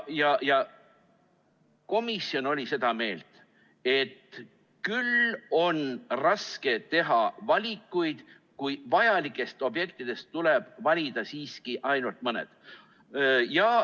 Komisjon oli seda meelt, et küll on raske teha valikuid, kui vajalikest objektidest tuleb valida siiski ainult mõned.